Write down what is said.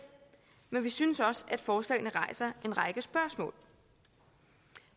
men vi synes også at forslagene rejser en række spørgsmål